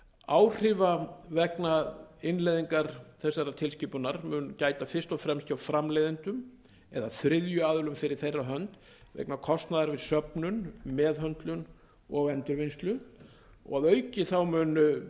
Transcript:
áhrifa vegna innleiðingar þessarar tilskipunar mun gæta fyrst og fremst hjá framleiðendum eða þriðju aðilum fyrir þeirra hönd vegna kostnaðar við söfnun meðhöndlun og endurvinnslu að auki mun